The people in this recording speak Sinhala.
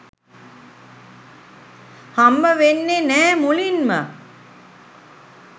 හම්බවෙන්නෙ නෑ මුලින්ම.